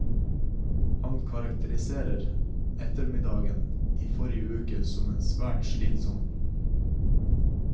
Han karakteriserer ettermiddagen i forrige uke som svært slitsom.